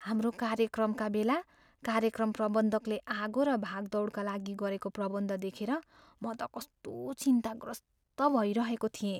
हाम्रो कार्यक्रमका बेला कार्यक्रम प्रबन्धकले आगो र भागदौडका लागि गरेको प्रबन्ध देखेर म त कस्तो चिन्ताग्रस्त भइरहेको थिएँ।